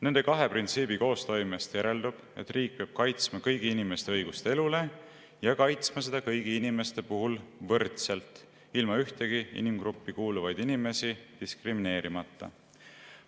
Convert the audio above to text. Nende kahe printsiibi koostoimest järeldub, et riik peab kaitsma kõigi inimeste õigust elule ja kaitsma seda kõigi inimeste puhul võrdselt, ilma ühtegi inimgruppi kuuluvaid inimesi diskrimineerimata.